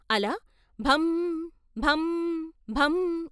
అలా భం భం భం....